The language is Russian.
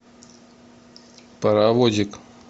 паровозик